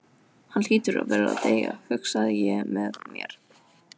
Hann hlýtur að fara að deyja, hugsaði ég með mér.